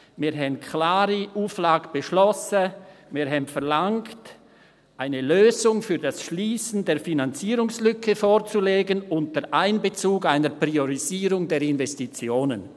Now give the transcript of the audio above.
Wir hatten eine klare Auflage beschlossen, wir hatten verlangt, «eine Lösung für das Schliessen der Finanzierungslücke vorzulegen unter Einbezug einer Priorisierung der Investitionen».